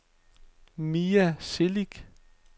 Mia Celik